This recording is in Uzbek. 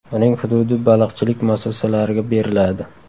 Uning hududi baliqchilik muassasalariga beriladi.